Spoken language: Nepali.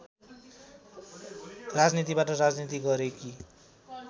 राजनीतिबाट राजनीति गरेकी